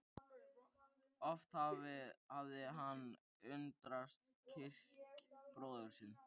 Oft hafði hann undrast kjark bróður síns.